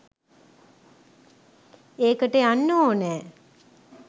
එකට යන්න ඕනෑ.